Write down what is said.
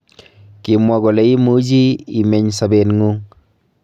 Kimwa kole imuchii imeny sabeengung